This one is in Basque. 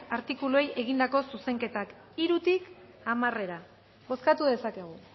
artikuluei egindako zuzenketak hirutik hamarera bozkatu dezakegu